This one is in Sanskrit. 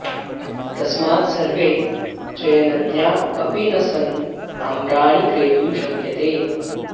तस्मात् सर्वे चयनज्ञा अपि न सन् आम्राणि क्रेतुं शक्यते